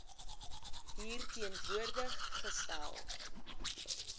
hier teenwoordig gestel